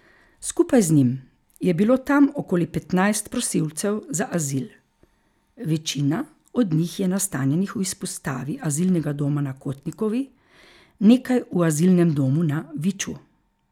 Skupaj z njim je bilo tam okoli petnajst prosilcev za azil, večina od njih je nastanjenih v izpostavi azilnega doma na Kotnikovi, nekaj v azilnem domu na Viču.